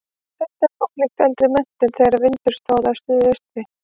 Þetta er ólíkt eldri metum þegar vindur stóð af suðaustri.